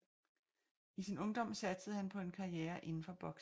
I sin ungdom satsede han på en karriere inden for boksning